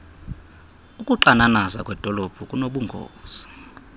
ukuxananaza kwedolophu kunobungozi